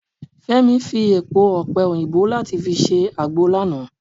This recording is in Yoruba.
Femi fi èpo ọpẹ - oyinbo láti fi ṣe agbo lánàá.